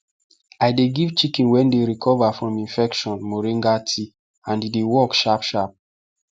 i dey give chicken wey dey recover from infection moringa tea and e dey work sharp sharp